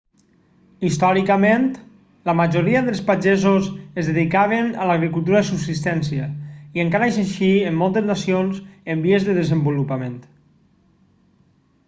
històricament la majoria dels pagesos es dedicaven a l'agricultura de subsistència i encara és així en moltes nacions en vies de desenvolupament